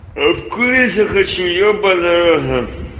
курить я хочу ебанный рот на